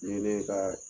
Ni ye ne ka